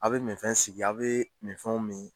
A' bɛ min fɛn sigi a' bɛ minfɛnw min.